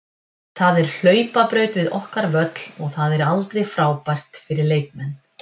Það er hlaupabraut við okkar völl og það er aldrei frábært fyrir leikmenn.